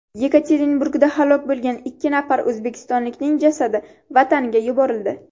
Yekaterinburgda halok bo‘lgan ikki nafar o‘zbekistonlikning jasadi vataniga yuborildi.